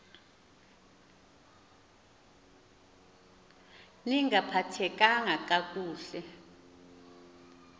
ni ngaphathekanga kakuhle